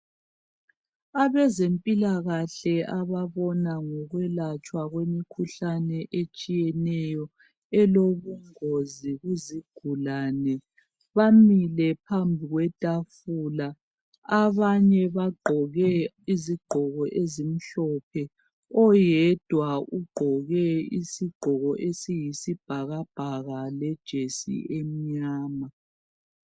Abezempilakahle ababona ngokwelatshwa kwemikhuhlane etshiyeneyo elobungozi kuzigulane bamile phambi kwetafula . Abanye bagqoke izigqoko ezimhlophe. Oyedwa ugqoke isigqoko esiyisibhakabhaka lejesi emnyama.